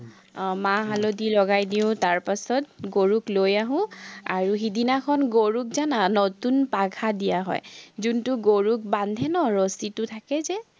আহ মা-হালধি লগাই দিওঁ, তাৰপাচত গৰুক লৈ আহোঁ, আৰু সিদিনাখন গৰুক জানা নতুন পাঘা দিয়া হয়। জুনটো গৰুক বান্ধে ন ৰছিটো থাকে যে